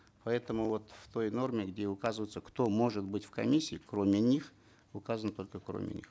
поэтому вот в той норме где указывается кто может быть в комиссии кроме них указано только кроме них